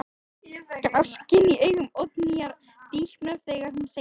Gáskinn í augum Oddnýjar dýpkar þegar hún segir: Einmitt.